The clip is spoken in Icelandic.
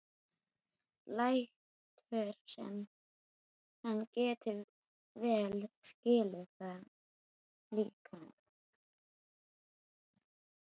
Lætur sem hann geti vel skilið það líka.